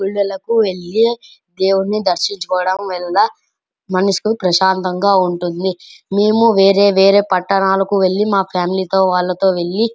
గుడిలకు వెళ్లి దేవుని దర్శించుకోవడం వలన మనసు ప్రశాంతంగా ఉంటుంది మేము వేరే వేరే పట్టణాలకు వెళ్లి మా ఫ్యామిలీ తో వాళ్ళతో వెళ్లి --